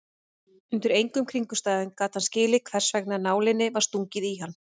Undir engum kringumstæðum gat hann skilið hversvegna nálinni var stungið í hann.